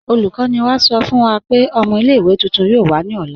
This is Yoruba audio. Olùkọ̀nì wá sọ̀ fún wà pé ọ̀mọ̀ ilẹ̀-ìwé tuntun yoo wà ní ọ̀lá.